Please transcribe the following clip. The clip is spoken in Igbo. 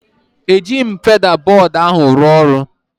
Ejighị m feda bọd ahụ rụọ ọrụ.